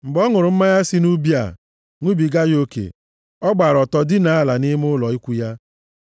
Mgbe ọ ṅụrụ mmanya si nʼubi a, ṅụbiga ya oke, ọ gbaara ọtọ dinaa ala nʼime ụlọ ikwu ya.